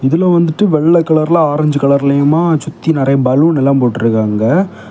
உள்ளெ வந்துட்டு வெள்ளெ கலர்லெ ஆரெஞ்சு கலர்லெயுமா சுத்தி நறைய பலூன் எல்லா போட்டிருக்காங்க.